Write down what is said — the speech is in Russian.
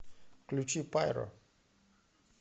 включи пайро